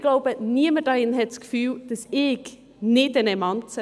Ich glaube, niemand hier drin hat das Gefühl, ich sei keine Emanze.